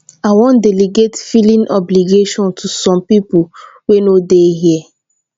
i wan delegate filing obligation to some people wey no dey here